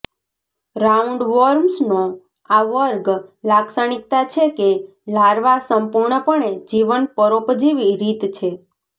રાઉન્ડવોર્મ્સનો આ વર્ગ લાક્ષણિકતા છે કે લાર્વા સંપૂર્ણપણે જીવન પરોપજીવી રીત છે